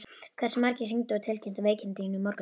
Hversu margir hringdu og tilkynntu veikindi í morgun?